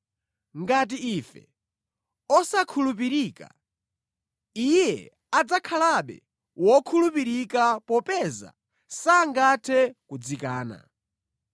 Ngati ndife osakhulupirika, Iye adzakhalabe wokhulupirika popeza sangathe kudzikana.